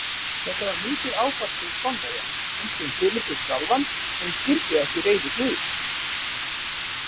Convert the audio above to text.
Þetta var mikið áfall fyrir Spánverja, einkum Filippus sjálfan sem skildi ekki reiði guðs.